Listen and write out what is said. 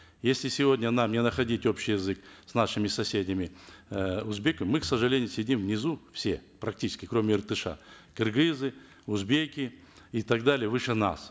если сегодня нам не находить общий язык с нашими соседями э узбеками мы к сожалению сидим внизу все практически кроме иртыша кыргызы узбеки и так далее выше нас